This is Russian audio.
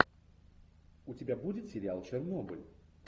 у тебя будет сериал чернобыль